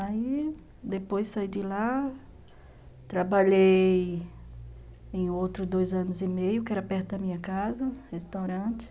Aí, depois saí de lá, trabalhei em outro dois anos e meio, que era perto da minha casa, restaurante.